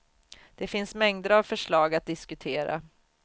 Det finns mängder av förslag att diskutera.